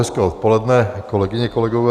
Hezké odpoledne, kolegyně, kolegové.